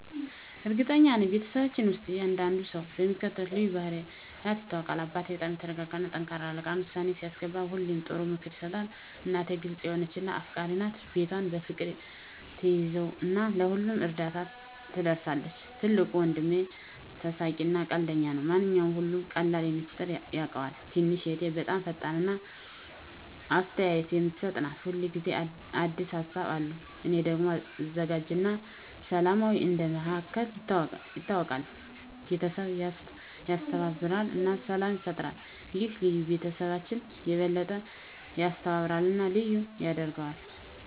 እርግጠኛ ነኝ፤ በቤተሰባችን ውስጥ እያንዳንዱ ሰው በሚከተሉት ልዩ ባህሪያት ይታወቃል - አባቴ በጣም የተረጋጋ እና ጠንካራ አለቃ ነው። ውሳኔ ሲያስገባ ሁሌ ጥሩ ምክር ይሰጣል። እናቴ ግልጽ የሆነች እና አፍቃሪች ናት። ቤቷን በፍቅር ትያዘው እና ለሁሉም እርዳታ ትደርሳለች። ትልቁ ወንድሜ ተሳሳቂ እና ቀልደኛ ነው። ማንኛውንም ሁኔታ በቀላሉ በሚስጥር ያቃልለዋል። ትንሽ እህቴ በጣም ፈጣሪ እና አስተያየት የምትሰጥ ናት። ሁል ጊዜ አዲስ ሀሳቦች አሉት። እኔ ደግሞ አዘጋጅ እና ሰላማዊ እንደ መሃከል ይታወቃለሁ። ቤተሰቡን ያስተባብራል እና ሰላም ይፈጥራል። ይህ ልዩነት ቤተሰባችንን የበለጠ ያስተባብራል እና ልዩ ያደርገዋል።